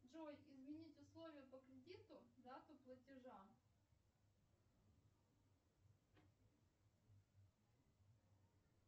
джой изменить условия по кредиту дату платежа